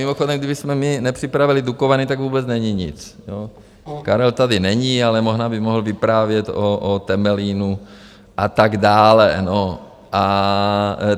Mimochodem, kdybychom my nepřipravili Dukovany, tak vůbec není nic, Karel tady není, ale možná by mohl vyprávět o Temelínu a tak dále.